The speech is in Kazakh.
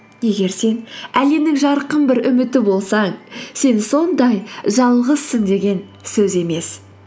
егер сен әлемнің жарқын бір үміті болсаң сен сондай жалғызсың деген сөз емес